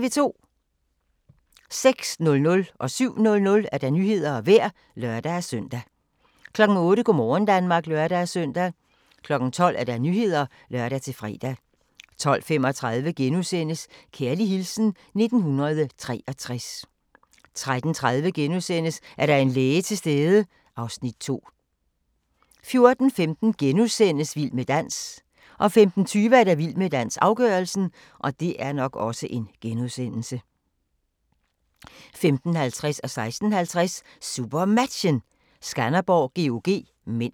06:00: Nyhederne og Vejret (lør-søn) 07:00: Nyhederne og Vejret (lør-søn) 08:00: Go' morgen Danmark (lør-søn) 12:00: Nyhederne (lør-fre) 12:35: Kærlig hilsen 1963 * 13:30: Er der en læge til stede? (Afs. 2)* 14:15: Vild med dans * 15:20: Vild med dans - afgørelsen 15:50: SuperMatchen: Skanderborg-GOG (m) 16:50: SuperMatchen: Skanderborg-GOG (m)